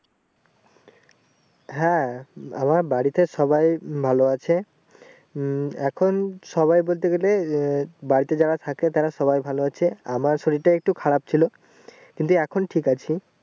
হ্যাঁ আমার বাড়িতে সবাই ভালো আছে উম এখন সবাই বলতে গেলে এর বাড়িতে যারা থাকে তারা সবাই ভালো আছে আমার শরীর তা একটু খারাপ ছিল কিন্তু এখন ঠিক আছে ।